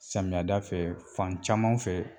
Samiyɛda fɛ fan caman fɛ